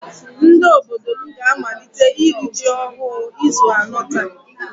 Ndị obodo m ga-amalite iri ji ọhụụ izu anọ taa